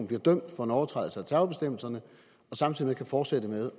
bliver dømt for en overtrædelse af terrorbestemmelserne samtidig kan fortsætte med